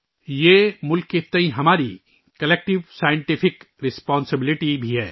یہ ملک کے تئیں ہماری اجتماعی سائنسی ذمہ داری بھی ہے